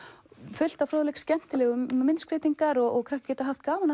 fullt af fróðleik skemmtilegar myndskreytingar og krakkar geta haft gaman af